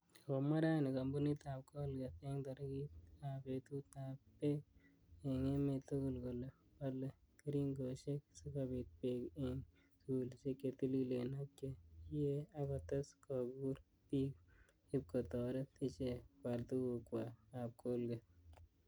komwaa raini kampunit ap colgate ing tarete ap petut ap pek eng emet tugul kole pale keringoshek sikobit pek ing sugulishek che tililen ak che kiee akotes kokur pik ipko toret ichek koal tugukwak ap colgate.